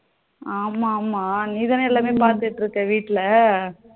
ஆமா ஆமா நீதானே எல்லாமே பாத்துட்டு இருக்க வீட்டுல